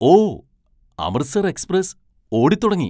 ഓ! Amritsar express ഓടിത്തുടങ്ങി!